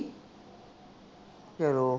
ਚਲੋ